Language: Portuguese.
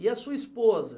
E a sua esposa?